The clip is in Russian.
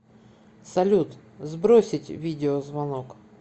салют сбросить видеозвонок